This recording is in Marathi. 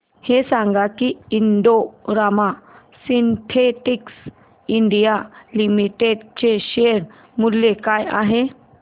हे सांगा की Indo Rama synthetics India limited चे शेअर मूल्य काय आहे